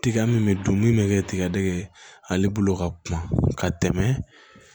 Tiga min bɛ dun min bɛ kɛ tigadɛgɛn ye ale bolo ka kuma ka tɛmɛ